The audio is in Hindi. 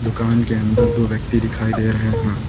दुकान के अन्दर दो व्यक्ति दिखाई दे रहे हैं।